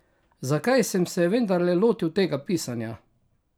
Zakaj sem se vendarle lotil tega pisanja?